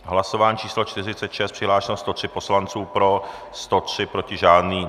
Hlasování číslo 46, přihlášeno 103 poslanců, pro 103, proti žádný.